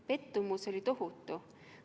Pettumus oli tohutu.